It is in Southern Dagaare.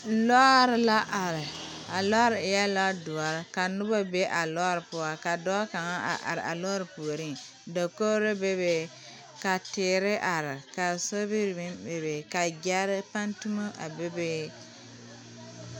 Lɔɔre la are a lɔɔre eɛ lɔɔdɔre ka noba be a lɔɔre poɔ ka dɔɔ kaŋa a are a lɔɔre puoriŋ dakogro bebe ka teere are ka sobiri meŋ bebe ka gyɛɛrepantumo a bebe.